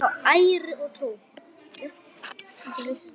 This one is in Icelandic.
Upp á æru og trú.